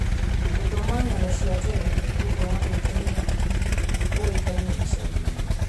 Gũthoma ng'ano cia tene nĩ ũndũ wa gwĩkenia ũĩkaine icagi-inĩ.